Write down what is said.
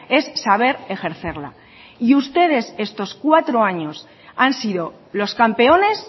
es saber ejercerla y ustedes estos cuatro años han sido los campeones